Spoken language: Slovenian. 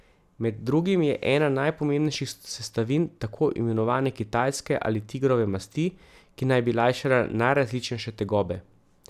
Med drugim je ena najpomembnejših sestavin tako imenovane kitajske ali tigrove masti, ki naj bi lajšala najrazličnejše tegobe.